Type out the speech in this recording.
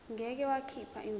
ngeke wakhipha imvume